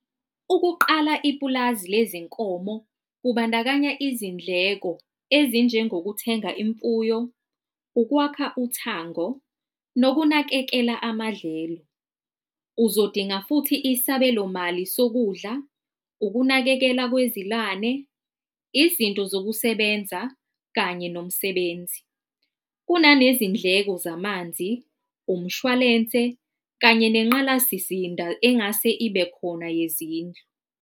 Ukuqala ipulazi lezinkomo, kubandakanya izindleko ezinjengokuthenga imfuyo, ukwakha uthango nokunakekela amadlelo. Uzodinga futhi isabelo mali sokudla, ukunakekela kwezilwane, izinto zokusebenza kanye nomsebenzi. Kunanezindleko zamanzi, umshwalense kanye nengqalasizinda engase ibekhona yezindlu.